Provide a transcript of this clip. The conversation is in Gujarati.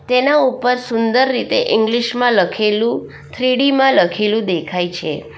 તેનાં ઉપર સુંદર રીતે ઇંગ્લિશ માં લખેલું થ્રી ડી માં લખેલું દેખાય છે.